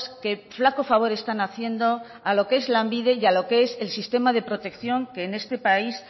que flaco favor están haciendo a lo que es lanbide y a lo que es el sistema de protección que en este país